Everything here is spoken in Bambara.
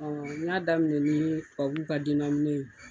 Ɔ n y'a daminɛ ni tubabuw ka ka dennaminɛ ye